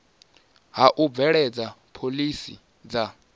ha u bveledza phoḽisi dza